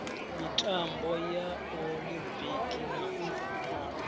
mitambo ya olimpiki na u